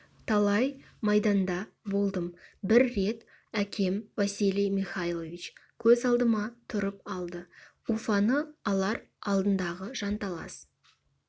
талай майданда болдым бір рет әкем василий михайлович көз алдыма тұрып алды уфаны алар алдындағы жанталас